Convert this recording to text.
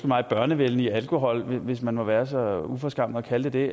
mig børnevenlige alkohol hvis man må være så uforskammet at kalde det